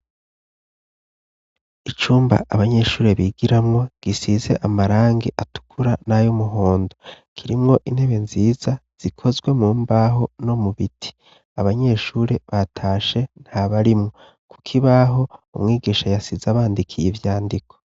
Icumba abanyeshure bigiramwo gisize amarangi atukura nay'umuhondo, kirimwo intebe nziza zikozwe mu mbaho no mu biti. Abanyeshure batashe ntabarimwo. Ku kibaho, umwigisha yasize abandikiye ivyandiko.